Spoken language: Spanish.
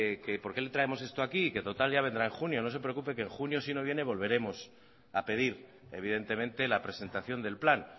que por qué le traemos esto aquí que total ya vendrá en junio no se preocupe que en junio si no viene volveremos a pedir evidentemente la presentación del plan